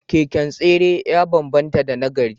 Keken tsere ya banbanta da na gari